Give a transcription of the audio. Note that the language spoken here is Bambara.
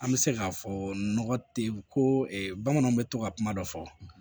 An bɛ se k'a fɔ nɔgɔ tɛ ye ko bamananw bɛ to ka kuma dɔ fɔ